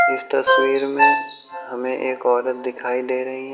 इस तस्वीर मे हमें एक औरत दिखाई दे रही है।